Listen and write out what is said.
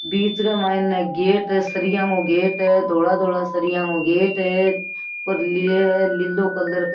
बीच के मायने गेट है सरिया को गेट है धोला धोला सरिया को गेट है पर लिलो कलर --